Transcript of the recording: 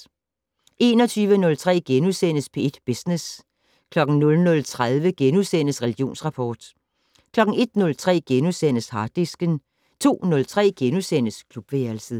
21:03: P1 Business * 00:30: Religionsrapport * 01:03: Harddisken * 02:03: Klubværelset *